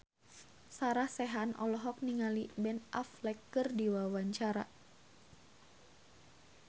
Sarah Sechan olohok ningali Ben Affleck keur diwawancara